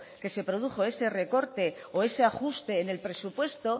que se produjo ese recorte o ese ajuste en el presupuesto